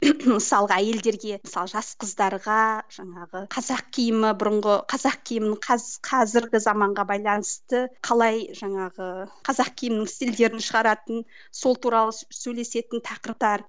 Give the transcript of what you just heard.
мысалға әйелдерге мысалы жас қыздарға жаңағы қазақ киімі бұрынғы қазақ киімін қазіргі заманға байланысты қалай жаңағы қазақ киімін стильдерін шығаратын сол туралы сөйлесетін тақырыптар